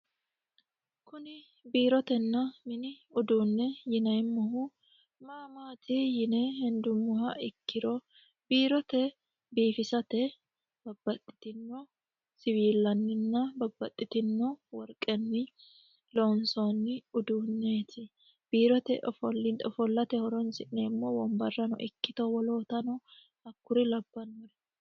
kuni biirotenna mini uduunne yinemmohu maamaati yine hendummoha ikkiro biirote biifisate babbaxxitino siwiillanninna babbaxxitino worqenni loonsoonni uduunneeti biirote ofollate horonsi'neemmo wombarrano ikkito wolootano hakkuri labbannuri